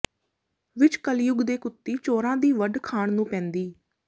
ਵਿੱਚ ਕਲਯੁੱਗ ਦੇ ਕੁੱਤੀ ਚੋਰਾਂ ਦੀ ਵੱਢ ਖਾਣ ਨੂੰ ਪੈਂਦੀ